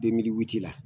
la